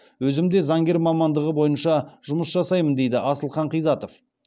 өзім де заңгер мамандығы бойынша жұмыс жасаймын дейді асылқан қизатов